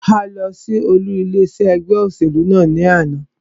A lọ sí olú ilé iṣé ẹgbẹ́ òṣèlú náà ní àná.